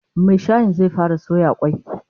Mai shayin zai fara soya kwai